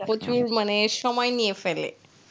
প্রচুর মানে সময় নিয়ে ফেলে,